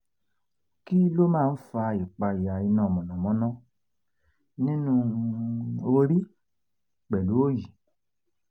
kí ló máa ń fa ìpayà iná mọ̀nàmọ̀nà nínú um orí pẹ̀lú òyì?